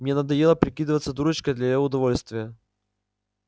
мне надоело прикидываться дурочкой для её удовольствия